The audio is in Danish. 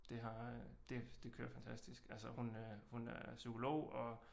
Det har øh det kører fantastisk altså hun er psykolog og